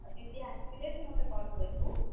ଆଉ दीदी ଆସିଲେ ତୁ ମତେ call କରିବୁ।